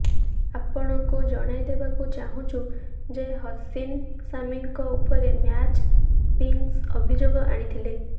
ଆପଣଙ୍କୁ ଜଣାଇଦେବାକୁ ଚାହଁଛୁ ଯେ ହସିନ୍ ସାମିଙ୍କ ଉପରେ ମ୍ୟାଚ୍ ଫିକ୍ସିଂ ଅଭିଯୋଗ ଆଣିଥଲେ